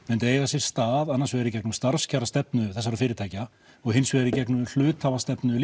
myndu eiga sér stað annars vegar í gegnum starfskjarastefnu þessa fyrirtækja og hins vegar í gegnum hluthafastefnu